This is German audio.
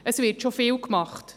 Es wird schon vieles getan: